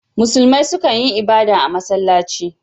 Musulmai su kan yi ibada a masallaci.